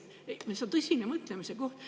See on tõsine mõtlemise koht.